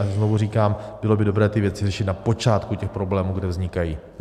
A znovu říkám, bylo by dobré ty věci řešit na počátku těch problémů, kde vznikají.